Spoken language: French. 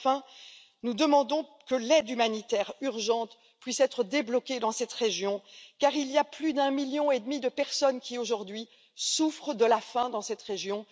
Enfin, nous demandons que l'aide humanitaire urgente puisse être débloquée dans cette région car il y a plus d'un million et demi de personnes qui, aujourd'hui, souffrent de la faim dans cette région.